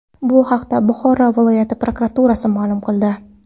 Bu haqda Buxoro viloyati prokuraturasi ma’lum qildi .